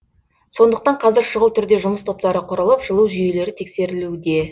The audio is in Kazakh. сондықтан қазір шұғыл түрде жұмыс топтары құрылып жылу жүйелері тексерілуде